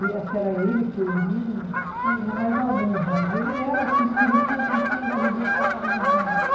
E acho que era ele, o Piolín, tinha mais alguns, mas ele era assim porque ele tinha o Cirquinho da Arrelia que passava no domingo.